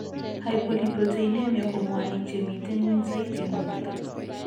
Hypolipoproteinemia ko mwanik chemiten ngweny saiti en borto